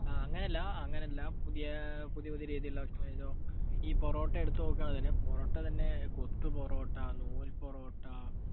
ആ അങ്ങനല്ല, അങ്ങനല്ല, പുതിയ പുതിയ രീതിയിലുള്ള ഭക്ഷണങ്ങൾ, ഇപ്പൊ ഈ പൊറോട്ട എടുത്തുനോക്കുകയാണെങ്കിൽ പൊറോട്ട തന്നെ കുത്തു പൊറോട്ട, നൂൽ പൊറോട്ട,